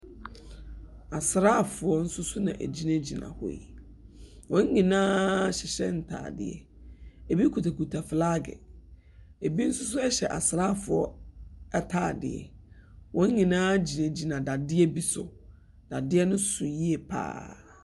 Asraafoɔ nso so na ɛgyinagyina hɔ yi, wɔn nyinaa hyehyɛ ntaadeɛ. Ebi kitakita flaage ebi nso so ahyɛ asraafoɔ ataadeɛ. Wɔn nyinaa gyinagyina dadeɛ bi so. Dadeɛ no so yie so pa ara.